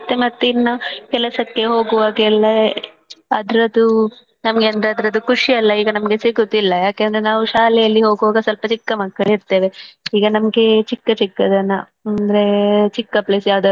ಮತ್ತೇ ಮತ್ತೆ ಇನ್ನಾ ಕೆಲಸಕ್ಕೆ ಹೋಗುವಾಗೆಲ್ಲಾ ಅದ್ರದ್ದು ನಮ್ಗೆ ಅದ್ರದ್ದು ಖುಷಿಯೆಲ್ಲಾ ಈಗ ನಮ್ಗೆ ಸಿಗುವುದಿಲ್ಲಾ ಯಾಕಂದ್ರೆ ನಾವು ಶಾಲೆಯಲ್ಲಿ ಹೋಗುವಾಗ ಸ್ವಲ್ಪ ಚಿಕ್ಕ ಮಕ್ಕಳು ಇರ್ತೇವೆ ಈಗ ನಮ್ಗೆ ಚಿಕ್ಕ ಚಿಕ್ಕದೆಲ್ಲಾ ಅಂದ್ರೆ ಚಿಕ್ಕ place ಯಾವ್ದಾದ್ರು.